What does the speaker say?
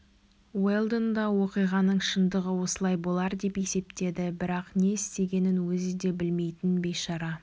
уэлдон да оқиғаның шындығы осылай болар деп есептеді бірақ не істегенін өзі де білмейтін бейшара